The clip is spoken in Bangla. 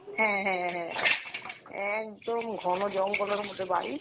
হ্যাঁ হ্যাঁ হ্যাঁ একদম ঘন জঙ্গলের মধ্যে বাড়ি।